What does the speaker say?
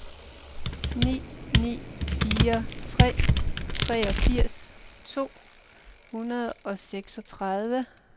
ni ni fire tre treogfirs to hundrede og seksogtredive